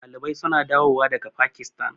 Ɗalibai suna dawo wa daga Pakistan